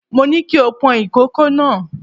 Mo ní kí o pọn ìkòkò náà.